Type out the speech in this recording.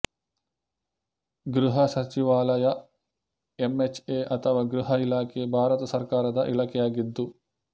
ಗೃಹ ಸಚಿವಾಲಯ ಎಂಎಚ್ಎ ಅಥವಾ ಗೃಹ ಇಲಾಖೆ ಭಾರತ ಸರ್ಕಾರದ ಇಲಾಖೆಯಾಗಿದ್ದು